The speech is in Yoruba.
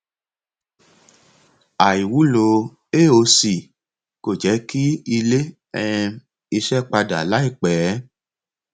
àìwúlò aoc kò jẹ kí ilé um iṣẹ padà láìpẹ